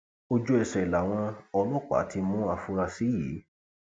ojúẹsẹ làwọn ọlọpàá ti mú àfúráṣí yìí